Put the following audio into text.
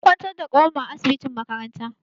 An kwantar da kawar mu a asibitin makaranta.